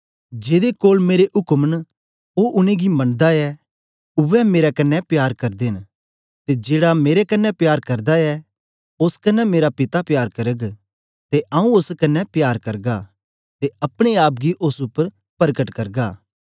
जेदे कोल मेरे उक्म न ओ उनेंगी मनदा ऐ उवै मेरे कन्ने प्यार करदे न ते जेड़ा मेरे कन्ने प्यार करदा ऐ ओस कन्ने मेरा पिता प्यार करग ते आऊँ ओस कन्ने प्यार करगा ते अपने आप गी ओस उपर परकट करगा